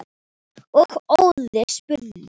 og Óðinn spurði